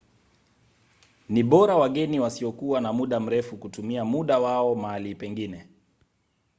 ni bora wageni wasiokuwa na muda mrefu kutumia muda wao mahali pengine